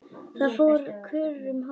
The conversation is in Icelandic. Það fór kurr um hópinn.